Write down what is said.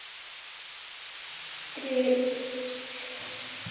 Strika út.